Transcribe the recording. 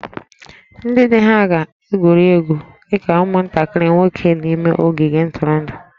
Ndị di ha ga-egwuri egwu dị ka ụmụntakịrị nwoke n'ime ogige ntụrụndụ